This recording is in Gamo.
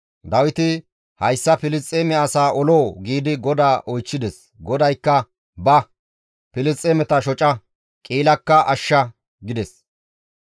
Dawiti, «Hayssa Filisxeeme asaa oloo?» giidi GODAA oychchides. GODAYKKA, «Ba; Filisxeemeta shoca; Qi7ilakka ashsha» gides.